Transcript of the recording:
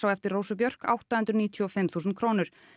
á eftir Rósu Björk átta hundruð níutíu og fimm þúsund krónur